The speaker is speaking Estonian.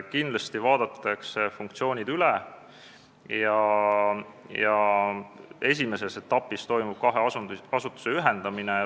Kindlasti vaadatakse funktsioonid üle ja esimeses etapis toimub kahe asutuse ühendamine.